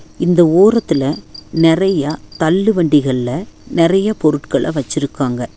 இந்த ஓரத்துல நெறையா தள்ளுவண்டிகள்ல நெறைய பொருட்கள்ல வச்சிருக்காங்க.